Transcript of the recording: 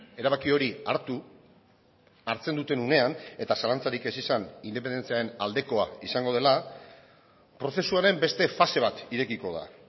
erabaki hori hartu hartzen duten unean eta zalantzarik ez izan independentziaren aldekoa izango dela prozesuaren beste fase bat irekiko da